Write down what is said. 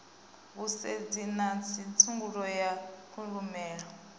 vhusedzi na tsedzuluso ya kushumele